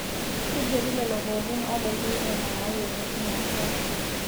Keigeri lelo pookin obaiki nena nayieuni teina siai